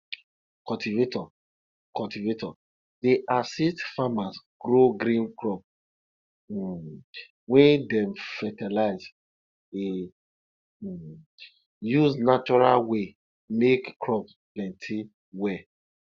cultivator cultivator dey assist farmers grow green crops um wey dem fertilize e um use natural way make crops plenty well